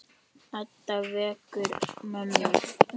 Edda vekur mömmu.